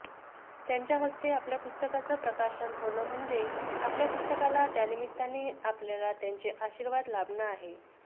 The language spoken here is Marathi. त्यांच्या हस्ते आपल्या पुस्तकाचं प्रकाशन होणं म्हणजे आपल्या पुस्तकाला त्यानिमित्ताने आपल्याला त्यांचे आशीर्वाद लाभणं आहे